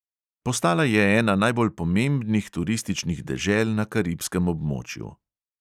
Postala je ena najbolj pomembnih turističnih dežel na karibskem območju.